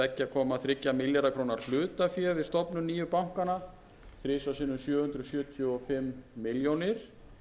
komma þrjá milljarða króna hlutafé við stofnun nýju bankanna þriggja sjö hundruð sjötíu og fimm milljónir